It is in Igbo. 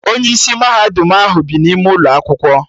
Onye isi mahadum ahụ bi n'ime ụlọ akwụkwọ